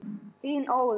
Þinn, Óðinn.